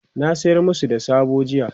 na sayar masu da soɓo jiya